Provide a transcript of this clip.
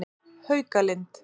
Haukalind